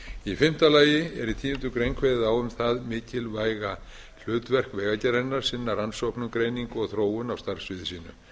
í fimmta lagi er í tíundu grein kveðið á um það mikilvæga hlutverk vegagerðarinnar að sinna rannsóknum greiningu og þróun á starfssviði sínu